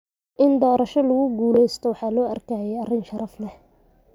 In doorasho lagu guulaysto waxa loo arkayay arrin sharaf leh.